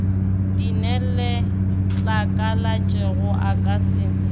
di neletlakalatšego o ka se